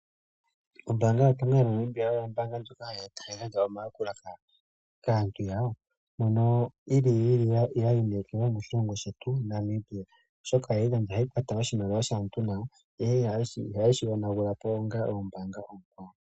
Ombanga yotango yopashigwana oyo oombanga ndjoka hayi gandja omayakulo kaantu, moka yili ya iinekelwa moshilongo shetu Namibia, oshoka ohayi kwata oshimaliwa shaantu nawa, iha ye shi yoonagulapo ngashi oombanga oonkwawo.